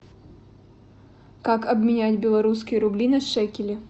как обменять белорусские рубли на шекели